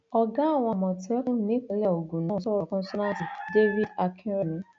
ọgá àwọn àmọtẹkùn nípínlẹ ogun náà sọrọ kọńsónáǹtì david akínrẹmì